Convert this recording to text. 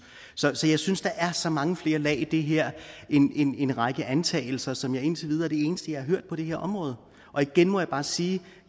så jeg synes der er så mange flere lag i det her end en række antagelser som indtil videre er det eneste jeg har hørt på det her område igen må jeg bare sige at